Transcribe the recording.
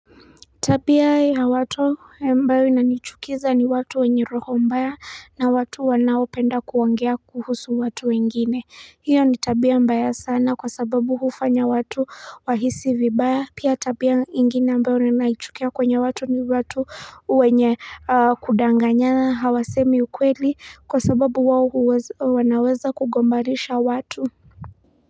Tabia ya watu ambao inanichukiza ni watu wenye roho mbaya na watu wanao penda kuongea kuhusu watu wengine hiyo nitabia mbaya sana kwa sababu hufanya watu wahisi vibaya pia tabia ingine ambayo ninaichukia kwenye watu ni watu uwenye. Kudanganyana hawasemi ukweli kwa sababu wawo wanaweza kugombarisha watu.